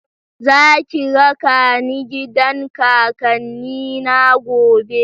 Za ki raka ni gidan kakanni na gobe?